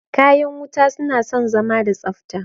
Kayan wuta suna son zama da tsafta